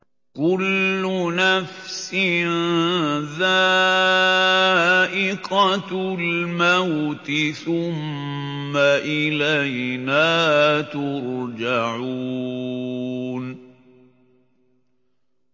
كُلُّ نَفْسٍ ذَائِقَةُ الْمَوْتِ ۖ ثُمَّ إِلَيْنَا تُرْجَعُونَ